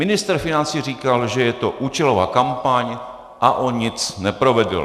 Ministr financí říkal, že je to účelová kampaň a on nic neprovedl.